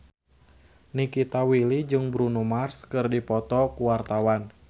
Nikita Willy jeung Bruno Mars keur dipoto ku wartawan